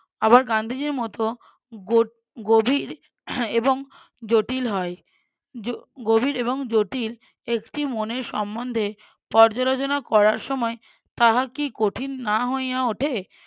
আবার গান্ধীজির মতো গো~ গভীর এবং জটিল হয়। গভীর এবং জটিল একটি মনের সম্বন্ধে পর্যালোচনা করার সময় তাহা কি কঠিন না হইয়া উঠে?